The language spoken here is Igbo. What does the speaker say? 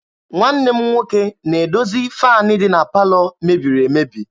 Nwanne m nwoke na-edozi faanị dị na palọ mebiri emebi.